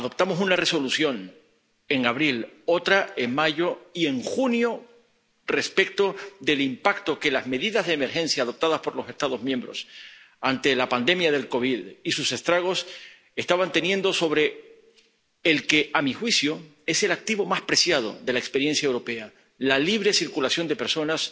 Adoptamos una Resolución en abril, otra en mayo y otra en junio, respecto del impacto que las medidas de emergencia adoptadas por los Estados miembros ante la pandemia de COVID 19 y sus estragos estaba teniendo sobre el que, a mi juicio, es el activo más preciado de la experiencia europea la libre circulación de personas